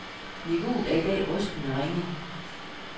Niveauet er i dag rystende ringe.